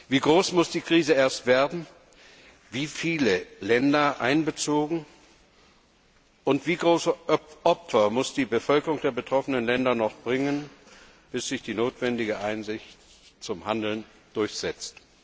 Wie groß muss die Krise erst werden, wie viele Länder müssen erfasst werden, und wie große Opfer muss die Bevölkerung der betroffenen Länder noch bringen, bis sich die notwendige Einsicht zum Handeln durchsetzt?